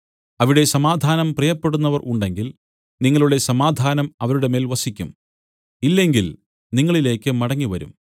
അവിടെ സമാധാനം പ്രിയപ്പെടുന്നവർ ഉണ്ടെങ്കിൽ നിങ്ങളുടെ സമാധാനം അവരുടെ മേൽ വസിക്കും ഇല്ലെങ്കിൽ നിങ്ങളിലേക്ക് മടങ്ങിവരും